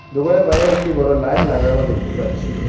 দোকানের বাইরে একটি বড় লাইট লাগানো দেখতে পাচ্ছি।